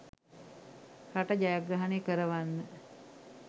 රට ජයග්‍රහණය කරවන්න.